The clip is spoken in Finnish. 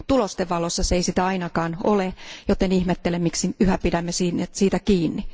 Tulosten valossa se ei sitä ainakaan ole, joten ihmettelen miksi yhä pidämme siitä kiinni.